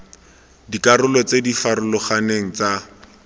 dikarolo tse di farologaneng tsa